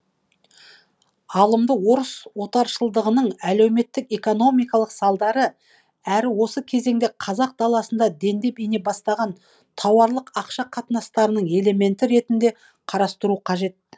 алымды орыс отаршылдығының әлеуметтік экономикалық салдары әрі осы кезеңде қазақ даласына дендеп ене бастаған тауарлық ақша қатынастарын элементі ретінде қарастыру қажет